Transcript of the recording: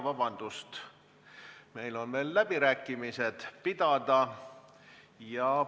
Vabandust, meil on veel läbirääkimised pidada!